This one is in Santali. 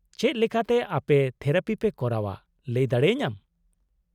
-ᱪᱮᱫ ᱞᱮᱠᱟᱛᱮ ᱟᱯᱮ ᱛᱷᱮᱨᱟᱯᱤ ᱯᱮ ᱠᱚᱨᱟᱣᱼᱟ ᱞᱟᱹᱭ ᱫᱟᱲᱮᱭᱟᱹᱧᱟᱢ ?